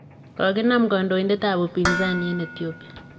Konginam gondoindet ab upinsani en Ethiopia.